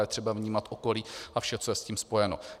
Je třeba vnímat okolí a vše, co je s tím spojeno.